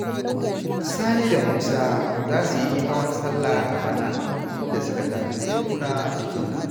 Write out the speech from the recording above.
Sani da Musa za su yi hawan sallah a bana, inda suka tanadi dokuna tun yanzu.